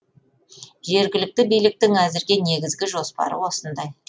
жергілікті биліктің әзірге негізгі жоспары осындай